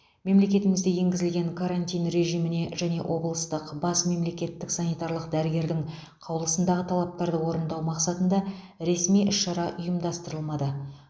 мемлекетімізде енгізілген карантин режиміне және облыстық бас мемлекеттік санитарлық дәрігердің қаулысындағы талаптарды орындау мақсатында ресми іс шара ұйымдастырылмады